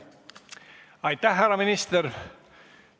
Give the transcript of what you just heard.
Aitäh, härra minister!